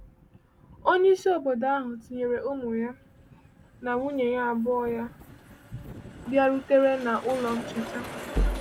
Onye isi obodo ahụ, tinyere ụmụ ya na nwunye abụọ ya, bịarutere na Ụlọ Ncheta.